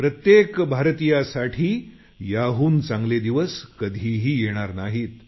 प्रत्येक भारतीयांसाठी याहून चांगले दिवस कधी येणार नाहीत